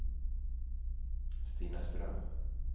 Stina Ström